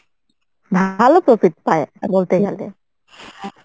ভালো profit পায় বলতে গেলে।